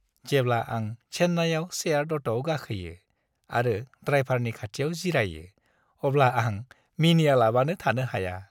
जेब्ला आं चेन्नाइआव सेयार्ड अट'आव गाखोयो आरो ड्राइभारनि खाथियाव जिरायो अब्ला आं मिनिआलाबानो थानो हाया।